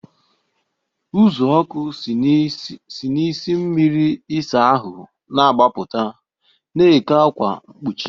Uzuoku si n'isi mmiri ịsa ahụ na-agbaputa, na-eke ákwà mkpuchi.